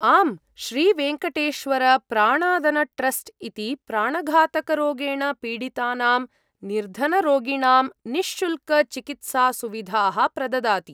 आम्, श्रीवेङ्कटेश्वरप्राणादनट्रस्ट् इति प्राणघातकरोगेण पीडितानां निर्धनरोगिणां निःशुल्कचिकित्सासुविधाः प्रददाति।